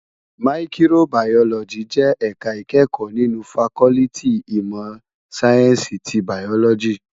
Màyìkróbàyólòjí jè èká ikèékò ninú fàkòliti imò sáyènsí ti bàyólòjí